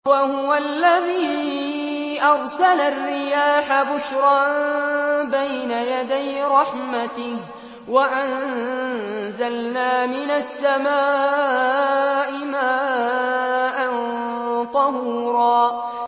وَهُوَ الَّذِي أَرْسَلَ الرِّيَاحَ بُشْرًا بَيْنَ يَدَيْ رَحْمَتِهِ ۚ وَأَنزَلْنَا مِنَ السَّمَاءِ مَاءً طَهُورًا